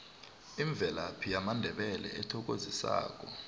imvelaphi yamandebele ethokozisako